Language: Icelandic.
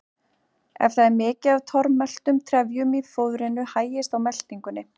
Ef það er mikið af tormeltum trefjum í fóðrinu hægist á meltingunni.